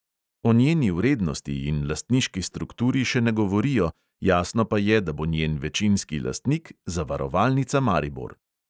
O njeni vrednosti in lastniški strukturi še ne govorijo, jasno pa je, da bo njen večinski lastnik zavarovalnica maribor.